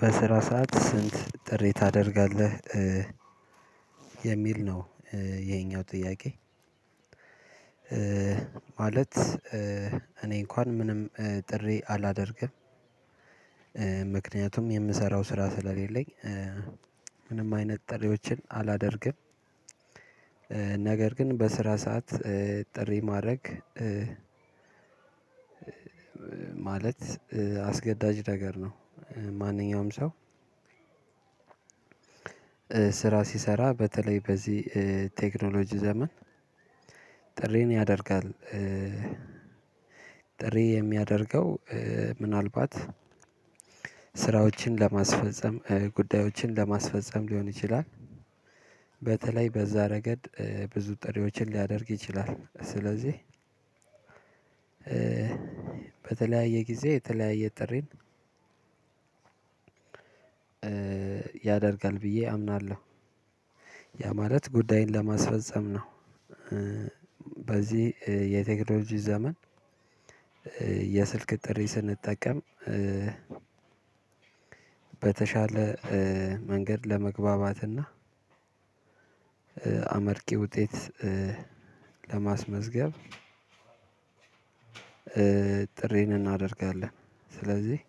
በስራ ሰዓት ስልክ ጥሪ ታደርጋለህ የሚል ነው ይሄኛው ጥያቄ። ማለት እኔ እንኳን ምንም ጥሪ አላደርግም። ምክንያቱም የምሰራው ስራ ስለሌለኝ። ምንም አይነት ጥሪዎችን አላደርግም። ነገር ግን በስራ ሰዓት ጥሪ ማድረግ ማለት አስገዳጅ ነገር ነው ማንኛውም ሰው። ስራ ሲሰራ በተለይ በዚህ ቴክኖሎጂ ዘመን ጥሪን ያደርጋል። ጥሪ የሚያደርገው ምናልባት ስራዎችን ለማስፈፀም ጉዳዮችን ለማስፈፀም ሊሆን ይችላል። በተለይ በዛ ረገድ ብዙ ጥሪዎችን ሊያደርግ ይችላል ስለዚህ በተለያየ ጊዜ የተለያየ ጥሪን። ያደርጋል ብዬ አምናለሁ ያ ማለት ጉዳይን ለማስፈፀም ነው። በዚህ የቴክኖሎጂ ዘመን የስልክ ጥሪ ስንጠቀም በተሻለ መንገድ ለመግባባትና አመርቂ ውጤት ለማስመዝገብ። ጥሪን እናደርጋለን ስለዚህ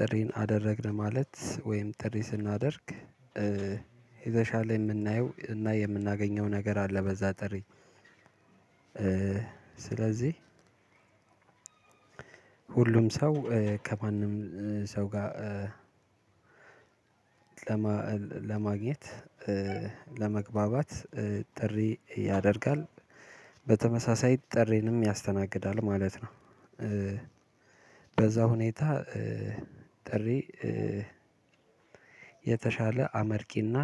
ጥሪን አደረግን ማለት ወይም ጥሪ ስናደርግ የተሻለ የምናየው እና የምናገኘው ነገር አለ በዛ ጥሪ። ስለዚህ ሁሉም ሰው ከማንም ሰው ጋር ለማግኘት ለመግባባት ጥሪ ያደርጋል በተመሳሳይ ጥሬንም ያስተናግዳል ማለት ነው። በዛ ሁኔታ ጥሪ የተሻለ አመርቂና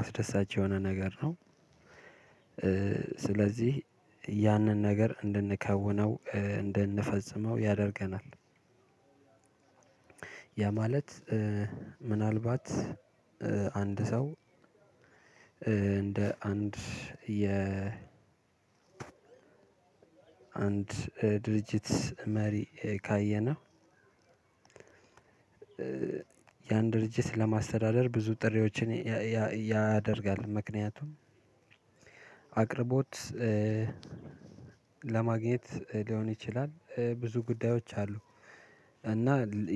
አስደሳች የሆነ ነገር ነው። ስለዚህ ያንን ነገር እንድንከውነው እንድንፈጽመው ያደርገናል። ያ ማለት ምናልባት አንድ ሰው እንደ አንድ የ አንድ ድርጅት መሪ ካየነው። የአንድ ድርጅት ለማስተዳደር ብዙ ጥሪዎችን ያደርጋል ምክንያቱም አቅርቦት ለማግኘት ሊሆን ይችላል ብዙ ጉዳዮች አሉ። እና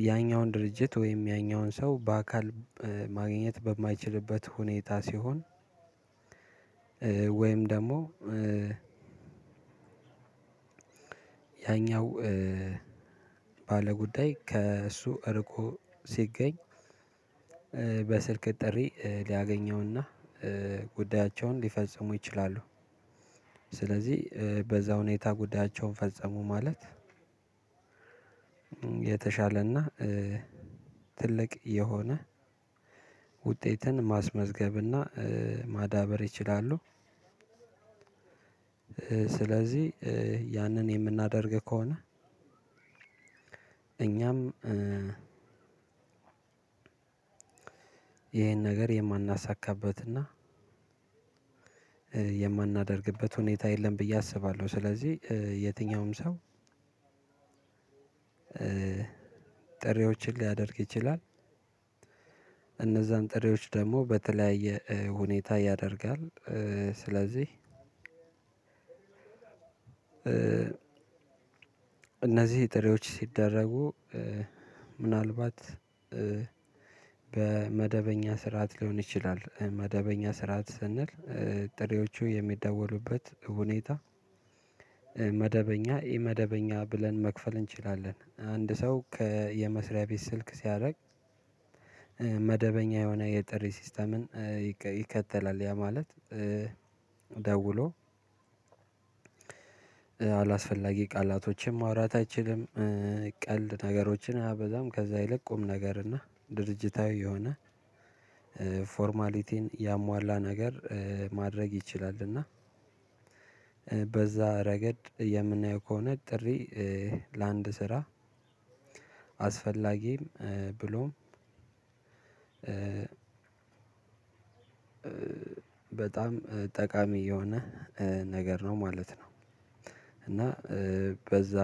ያይኛውን ድርጅት ወይም ያይኛውን ሰው በአካል ማግኘት በማይችልበት ሁኔታ ሲሆን ወይም ደግሞ ያይኛው ባለጉዳይ ከእሱ እርቆ ሲገኝ በስልክ ጥሪ ሊያገኘውና ጉዳያቸውን ሊፈጽሙ ይችላሉ። ስለዚህ በዛ ሁኔታ ጉዳያቸውን ፈጸሙ ማለት የተሻለና ትልቅ የሆነ ውጤትን ማስመዝገብና ማዳበር ይችላሉ። ስለዚህ ያንን የምናደርግ ከሆነ እኛም ነገር የማናሳካበትና የማናደርግበት ሁኔታ የለም ብዬ አስባለሁ ስለዚህ የትኛውም ሰው ጥሪዎችን ሊያደርግ ይችላል። እነዛም ጥሬዎች ደግሞ በተለያየ ሁኔታ ያደርጋል ስለዚህ። እነዚህ ጥሬዎች ሲደረጉ ምናልባት በመደበኛ ስርዓት ሊሆን ይችላል መደበኛ ስርዓት ስንል ጥሬዎቹ የሚደወሉበት ሁኔታ። መደበኛ እመደበኛ ብለን መክፈል እንችላለን አንድ ሰው የመስሪያ ቤት ስልክ ሲያደርግ። መደበኛ የሆነ የጥሪ ሲስተምን ይከተላል ያ ማለት ደውሎ አላስፈላጊ ቃላቶችም ማውራት አይችልም። ቀልድ ነገሮችን አያበዛም ከዛ ይልቅ ቁም ነገር እና ድርጅታዊ የሆነ ፎርማሊቲን ያሟላ ነገር ማድረግ ይችላልና። ረገድ የምናየው ከሆነ ጥሪ ለአንድ ስራ አስፈላጊም ብሎም በጣም ጠቃሚ የሆነ ነገር ነው ማለት ነው። እና በዛ